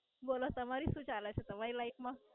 બોલો તમારી શું ચાલે છે તમારી Life માં?